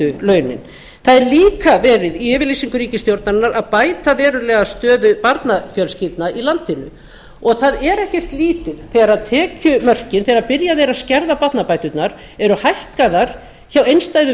lægstu launin það er líka verið í yfirlýsingu ríkisstjórnarinnar að bæta verulega stöðu barnafjölskyldna í landinu og það er ekkert lítið þegar byrjað er að skerða barnabæturnar eru hækkaðar hjá einstæðu